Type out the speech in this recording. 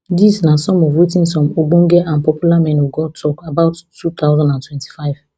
dis na some of wetin some ogbonge and popular men of god tok about two thousand and twenty-five